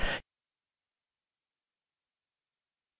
यह spoken tutorial project को सारांशित करता है